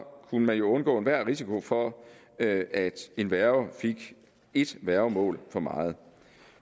kunne man jo undgå enhver risiko for at en værge fik et værgemål for meget